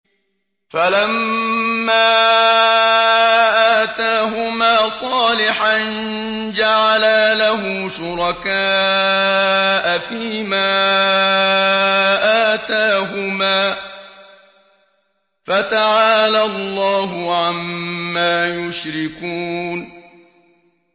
فَلَمَّا آتَاهُمَا صَالِحًا جَعَلَا لَهُ شُرَكَاءَ فِيمَا آتَاهُمَا ۚ فَتَعَالَى اللَّهُ عَمَّا يُشْرِكُونَ